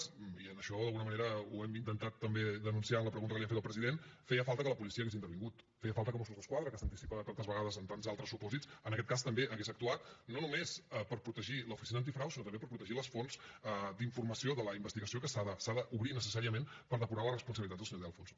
i en això d’alguna manera ho hem intentat també denunciar en la pregunta que li hem fet al president feia falta que la policia hagués intervingut feia falta que mossos d’esquadra que s’anticipa tantes vegades en tants altres supòsits en aquest cas també hagués actuat no només per protegir l’oficina antifrau sinó també per protegir les fonts d’informació de la investigació que s’ha d’obrir necessàriament per depurar les responsabilitats del senyor de alfonso